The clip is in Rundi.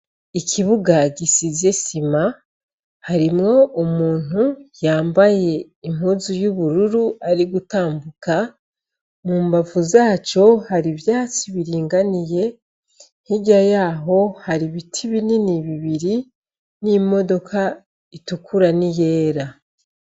Ikibuga gisize isima harimwo umuntu yambaye impuzu y'ubururu ari gutambuka, mu mbavu zaco hari ivyatsi biringaniye, hirya yaho hari ibiti binini bibiri n'imodoka itukura n'iyera.